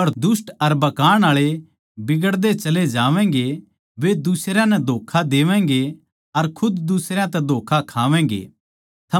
पर दुष्ट अर भकाण आळे बिगड़दे चले जावैंगे वे दुसरयां नै धोक्खा देवैगें अर खुद दुसरयां तै धोक्खा